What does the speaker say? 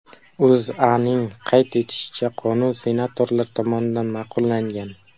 O‘zAning qayd etishicha, qonun senatorlar tomonidan ma’qullangan.